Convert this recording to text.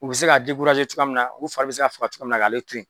U bɛ se k'a cogoya min na , u fari bɛ se ka faga cogo minna k'ale to yen.